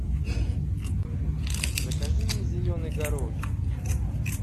закажи мне зеленый горошек